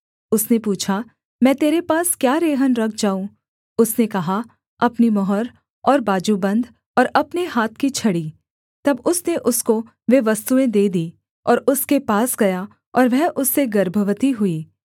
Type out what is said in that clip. उसने पूछा मैं तेरे पास क्या रेहन रख जाऊँ उसने कहा अपनी मुहर और बाजूबन्द और अपने हाथ की छड़ी तब उसने उसको वे वस्तुएँ दे दीं और उसके पास गया और वह उससे गर्भवती हुई